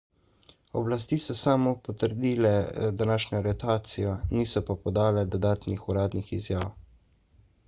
oblasti so samo potrdile današnjo aretacijo niso pa podale dodatnih uradnih izjav